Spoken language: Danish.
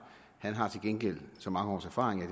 han har til gengæld så mange års erfaring at